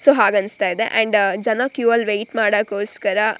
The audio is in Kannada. ಸ್ಸೋ ಹಾಗ್ ಅನ್ಸ್ತಾ ಇದೆ ಏಂಡ್ ಜನ ಕ್ಯೂ ವೈಟ್ ಮಾಡಕ್ಕೋಸ್ಕರ--